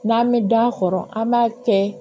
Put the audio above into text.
N'an bɛ da kɔrɔ an b'a kɛ